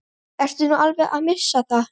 Ertu nú alveg að missa það?